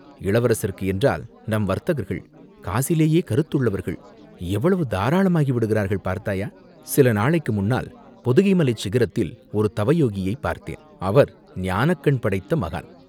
இளவரசருக்கு என்றால் நம் வர்த்தகர்கள், காசிலேயே கருத்துள்ளவர்கள், எவ்வளவு தாராளமாகி விடுகிறார்கள் பார்த்தாயா, சில நாளைக்கு முன்னால் பொதிகைமலைச் சிகரத்தில் ஒரு தவயோகியைப் பார்த்தேன், அவர் ஞானக்கண் படைத்த மகான்.